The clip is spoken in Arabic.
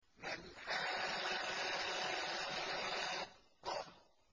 مَا الْحَاقَّةُ